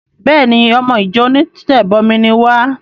Béèni! Ọmọ ìjọ onítẹ̀bọmi ni wá.